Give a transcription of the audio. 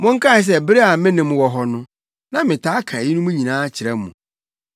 Monkae sɛ bere a me ne mo wɔ hɔ no, na metaa ka eyinom nyinaa kyerɛ mo.